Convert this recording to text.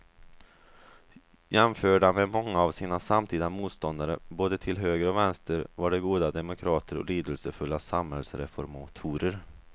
Jämförda med många av sina samtida motståndare både till höger och vänster var de goda demokrater och lidelsefulla samhällsreformatorer.